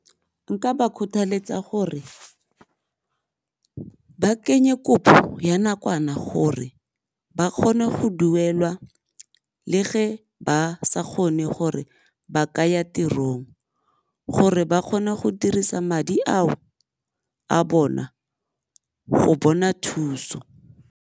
Nka ba kgothaletsa gore ba kenye kopo ya nakwana gore ba kgone go duelwa le fa ba sa kgone gore ba ka ya tirong gore ba kgone go dirisa madi ao a bona go bona thuso.